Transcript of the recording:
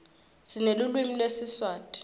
sinelulwimi lesiswati